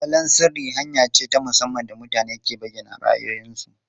Salon sirri hanya ce ta musamman da mutane ke bayyana ra'ayoyinsu.